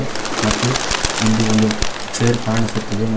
ಮತ್ತು ಇಲ್ಲಿ ಒಂದು ಚೇರ್ ಕಾಣಿಸುತ್ತಿದೆ ಮ--